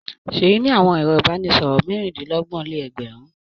Ṣèyí ní àwọn ẹ̀rọ-ìbánisọ̀rọ̀ mẹ́rin-dín-lọ́gbọ̀n-lé-ẹgbẹ̀rún.